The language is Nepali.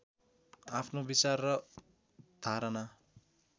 आफ्नो विचार र धारणा